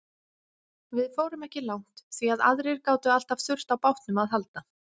Við fórum ekki langt því að aðrir gátu alltaf þurft á bátnum að halda.